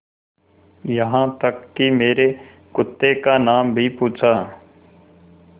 यहाँ तक कि मेरे कुत्ते का नाम भी पूछा